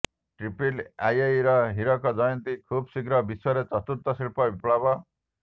triple ଆଇଇର ହୀରକ ଜୟନ୍ତୀ ଖୁବ୍ଶୀଘ୍ର ବିଶ୍ୱରେ ଚତୁର୍ଥ ଶିଳ୍ପ ବିପ୍ଳବ